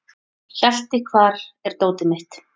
Hjalti, hvar er dótið mitt?